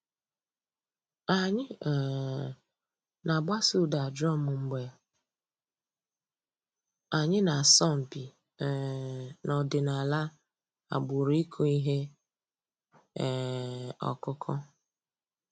Ànyị̀ um nà-àgbàsò ǔ́dà drum mgbè ànyị̀ nà-àsọ̀ mpị̀ um n'ọ̀dìnàlà àgbùrù ị̀kụ̀ íhè um ǒkụ̀kụ̀.